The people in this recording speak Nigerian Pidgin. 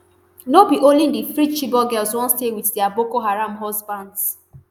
no be only di freed chibok girls wan stay wit dia boko haram husbands